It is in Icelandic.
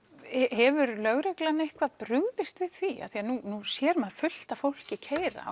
hefur lögreglan eitthvað brugðist við því af því nú sér maður fullt af fólki keyra